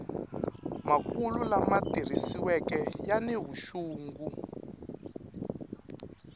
makulu lama tirhisiweke yani vuxungi